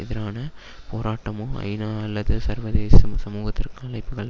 எதிரான போராட்டமோ ஐநா அல்லது சர்வதேச சமூகத்திற்கு அழைப்புக்கள்